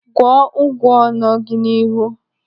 Gwọọ ụgwa nọ gị n'ihu.